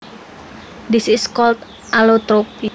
This is called allotropy